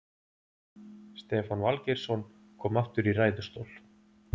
Stefán Valgeirsson kom aftur í ræðustól.